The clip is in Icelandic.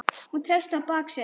Hún treysti á bak sitt.